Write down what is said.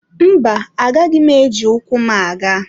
Mba, agaghị m eji ụkwụ m aga.